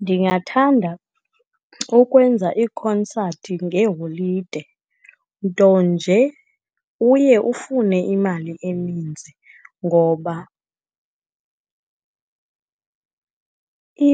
Ndingathanda ukwenza iikhonsathi ngeeholide, nto nje uye ufune imali eninzi ngoba